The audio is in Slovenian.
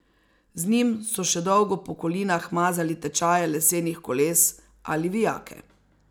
Z njim so še dolgo po kolinah mazali tečaje lesenih koles ali vijake.